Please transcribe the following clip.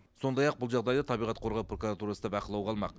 сондай ақ бұл жағдайды табиғат қорғау прокуратурасы да бақылауға алмақ